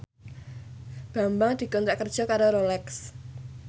Bambang dikontrak kerja karo Rolex